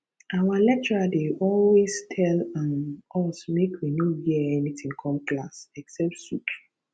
our lecturer dey always tell um us make we no wear anything come class except suit